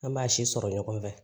An b'a si sɔrɔ ɲɔgɔn fɛ